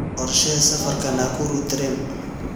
qorshee safarka nakuru tareen